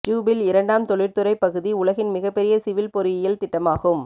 Jubail இரண்டாம் தொழிற்துறை பகுதி உலகின் மிகப்பெரிய சிவில் பொறியியல் திட்டமாகும்